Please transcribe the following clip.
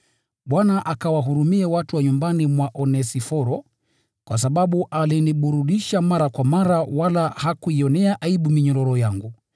Bwana akawahurumie watu wa nyumbani mwa Onesiforo, kwa sababu aliniburudisha mara kwa mara wala hakuionea aibu minyororo yangu.